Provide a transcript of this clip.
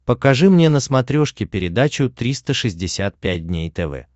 покажи мне на смотрешке передачу триста шестьдесят пять дней тв